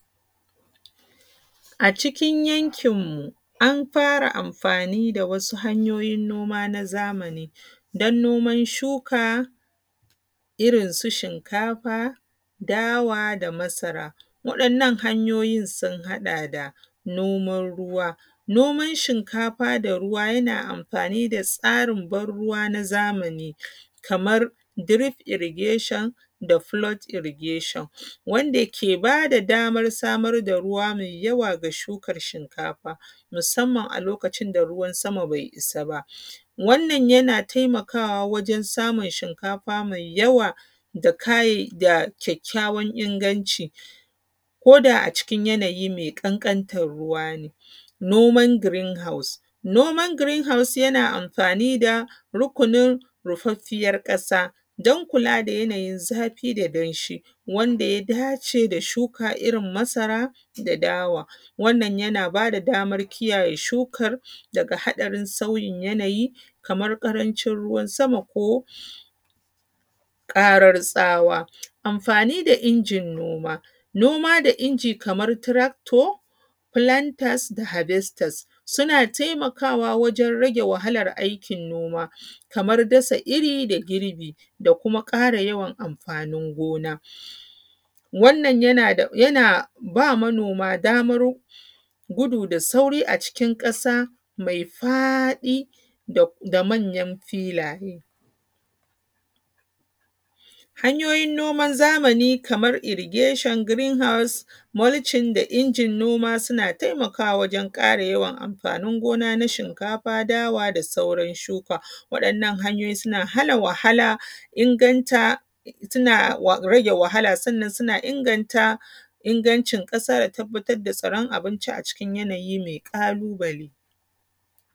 A cikin yankin mu an fara yin amfani da wasu hanyoyin noma na zamani, don noman shuka da irin su shinkafa, dawa da masara. Waɗannan hanyoyin sun haɗa da noman ruwa, noman shinkafa da ruwa yana amfani da tsarin ban ruwa na zamani. Kamar dirif irigeshon da folod irigeshon. Wanda ke ba da damar samar da ruwa mai yawa ga shukar shinkafa, musamman a lokacin da ruwan sama bai isa ba, wannan yana taimakawa wajen samun shinkafa mai yawa, da kayay da kyakkyawan inganci, ko da a cikin yanayi mai ƙanƙanta ruwa ne.. Noman girin haus, noman girin hous, yan amfani da rukunin rufaffiyar ƙasa, dan kula da yanayi zafi da danshi, wanda ya dace da shuka irin su masara da dawa. Wannan yana ba da damar iyaye shukar, daga haɗarin sauyin yanayi kamar ƙaracin ruwan sama ko ƙarar tsawa. Amfani da injin noma, noma da inji kamar tarakto, filantantas da habestas, suna taimakawa wajen rage wahalar aikin noma. Kamar dasa iri da girbi da kuma ƙara yawan amfanin gona. Wannan yana ba manoma damar gudu da sauri a cikin ƙasa mai faɗi da da manyan filaye. Hanyoyin noman zamani kamar irigeshon, girin haus, mulcin da injin noma suna taimakawa wajen yawan amfanin gona na shinkafa, dawa da sauran shuka. Waɗannan hanyoyi suna hana wahala, unganta suna rage wahala, sannan suna ingata ingancin ƙasa da tabbatar da tsiran abinci a cikin yanayi mai mai ƙalubale.